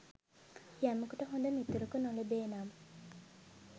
යමෙකුට හොඳ මිතුරෙකු නොලැබේ නම්